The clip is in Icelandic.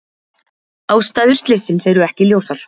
Ástæður slyssins eru ekki ljósar